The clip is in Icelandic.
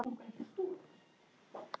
Þú ert ekki farinn að snerta á ísnum!